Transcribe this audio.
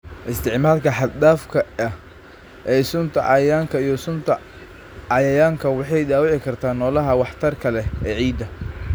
Isticmaalka xad-dhaafka ah ee sunta cayayaanka iyo sunta cayayaanka waxay dhaawici kartaa noolaha waxtarka leh ee ciidda.